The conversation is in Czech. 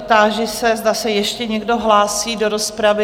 Táži se, zda se ještě někdo hlásí do rozpravy?